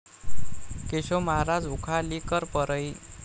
Keshav Maharaj Ukhalikar Parli